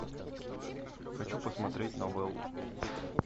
хочу посмотреть новеллу